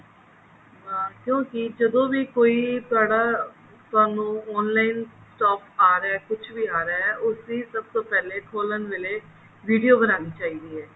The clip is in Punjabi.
ਕਿਉਂਕਿ ਜਦੋਂ ਵੀ ਕੋਈ ਤੁਹਾਡਾ ਤੁਹਾਨੂੰ online ਆ ਰਿਹਾ ਕੁੱਛ ਵੀ ਆ ਰਿਹਾ ਉਸਦੀ ਸਭ ਤੋਂ ਪਹਿਲੇ ਖੋਲਣ ਵੇਲੇ video ਬਨਾਨੀ ਚਾਹੀਦੀ ਹੈ